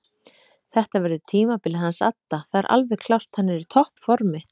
Þetta verður tímabilið hans adda það er alveg klárt hann er í toppformi.